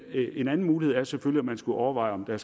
en anden mulighed er selvfølgelig at man skulle overveje om der